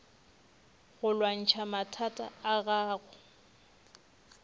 go lwantšha mathata a gago